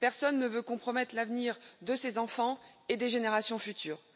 Personne ne veut compromettre l'avenir de ses enfants et des générations futures.